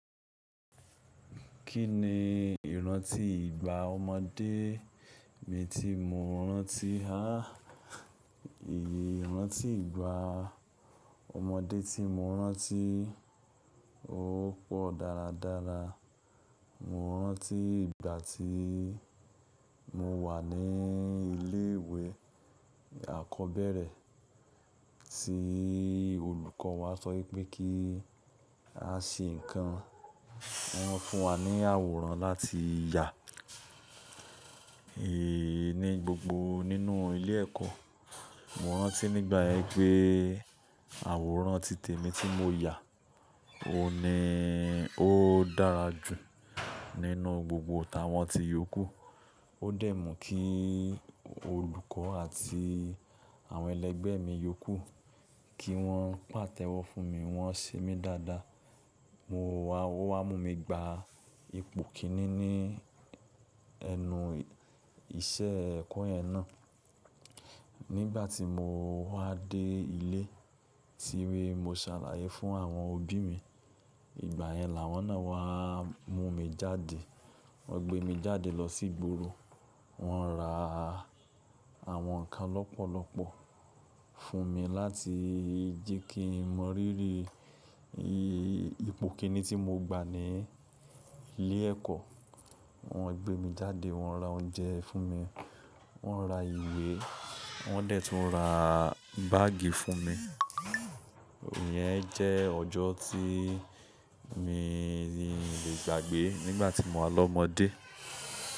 Kí ni ìrántí ìgbà ọmọdé mi tí mo rántí? À, ìrántí ìgbà ọmọdé tí mo rántí, ó pọ̀ dáradára. Mo rántí ìgbà tí mo wà ní ilé ìwé àkọ́bẹ̀rẹ̀ tí olùkọ́ wa sọ pé kí a ṣe nǹkan, wọ́n fún wa ní àwòrán láti yà è ní gbogbo nínú ilé ẹ̀kọ́. Mo rántí nígbà yẹn pé àwòrán títẹ̀ mi tí mo yà, o ni ó dára jù nínú gbogbo awọ́n ti iyọkù. Ó dẹ̀ mú kí olùkọ́ àti àwọn ẹlẹgbẹ́ mi yọkù, kí wọ́n pàtẹ́wọ́ fún mi, wọ́n ṣe mí dáadáa. Ówa mú mi gba ipòn ìkíní nínú iṣẹ́ ẹ̀kọ́ yẹn náà. Nígbà tí mo wá dé ilé, tí mo ṣàlàyé fún àwọn òbí mi. Ìgbà yẹn làwọn náà wá mú mi jáde. Wọ́n gbé mi jáde lọ sí ìgboro. Wọ́n ra àwọn nǹkan lọ́pọ̀lọ́pọ̀ fún mi láti jẹ́ kí mo ríri ipò kìíní tí mo gba ní ilé ẹ̀kọ́. Wọ́n gbé mi jáde, wọ́n ra oúnjẹ fún mi, wọ́n ra ìwé, wọ́n dẹ̀ tún ra báàgì fún mi. Ìyẹn jẹ́ ọjọ́ tí mi ò lè gbàgbé nígbà tí mo wà lọ́mọdé.